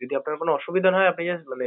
যদি আপনার কোন অসুবিধা না হয় আপনি just মানে